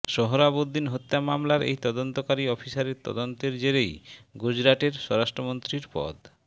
সোহরাবুদ্দিন হত্যা মামলার এই তদন্তকারী অফিসারের তদন্তের জেরেই গুজরাতের স্বরাষ্ট্রমন্ত্রীর পদ